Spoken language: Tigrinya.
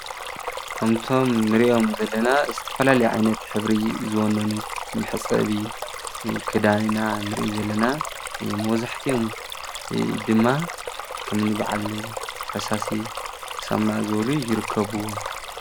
ከምቶም ንሪኦም ዘለና ዝተፈላለዩ ዓይነት ሕብሪ ዝወነኑ መሕፀቢ ክዳን ኢና ንሪኢ ዘለና:: ንመብዛሕቲኦም ድማ ከም በዓል ፈሳሲ ሳሞና ዝበሉ ይርከቡ::